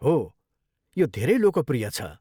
हो, यो धेरै लोकप्रिय छ।